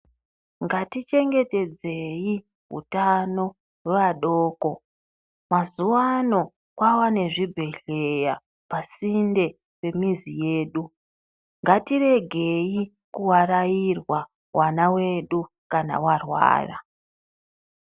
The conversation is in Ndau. Ngatichengetedzei utano vadoko. Mazuwano kwava nezvibhehleya pasinde pemizi yedu. Ngatiregei kuarairwa vana vedu kana varwara.